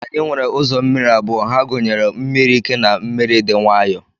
Anyi nwere uzọ mmiri abụọ, ha gunyere mmiri ike na mmiri di nwayo.